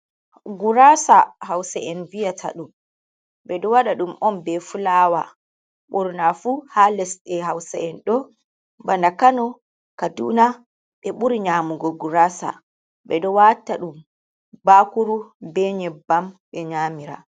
Gurasa hausa'en viyataɗum, ɓeɗo waɗa ɗum on be fulawa, ɓurnafu ha lesɗe hause’en ɗo bana kano, kaduna ɓe ɓuri nyamugo gurasa. beɗo wata ɗum bakuru be nyebbam ɓe nyamira.